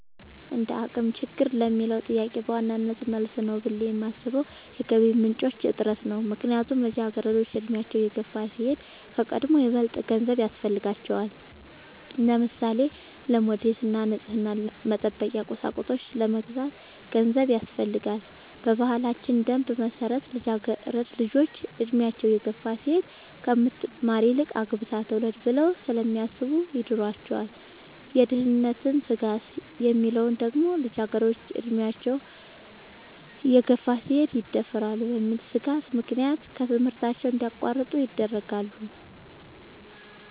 እንደአቅም ችግር ለሚለው ጥያቄ በዋናነት መልስ ነው ብሌ የማሥበው የገቢ ምንጭ እጥረት ነው። ምክንያቱም ልጃገረዶች አድሚያቸው እየገፋ ሲሄድ ከቀድሞው ይበልጥ ገንዘብ ያሥፈልጋቸዋል። ለምሳሌ:-ለሞዴስ እና ንፅህናን መጠበቂያ ቁሳቁሶች ለመግዛት ገንዘብ ያሥፈልጋል። በባህላችን ደንብ መሠረት ልጃገረድ ልጆች እድሚያቸው እየገፋ ሲሄድ ከምትማር ይልቅ አግብታ ትውለድ ብለው ስለሚያሥቡ ይድሯቸዋል። የደህንነት ስጋት የሚለው ደግሞ ልጃገረድ ልጆች አድሚያቸው እየገፋ ሲሄድ ይደፈራሉ በሚል ሥጋት ምክንያት ከትምህርታቸው እንዲያቋርጡ ይደረጋሉ።